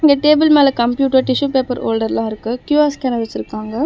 இங்க டேபிள் மேல computer tissue paper ஹோல்டர்ல இருக்கு கியூ_ஆர் ஸ்கேனர் வெச்சுருக்காங்க.